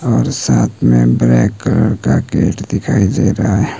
और साथ में ब्लैक कलर का गेट दिखाई दे रहा है।